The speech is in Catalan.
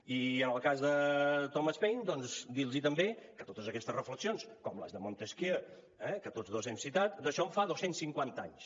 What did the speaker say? i en el cas de thomas paine doncs dir los també que totes aquestes reflexions com les de montesquieu que tots dos hem citat d’això en fa dos cents cinquanta anys